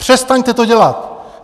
Přestaňte to dělat!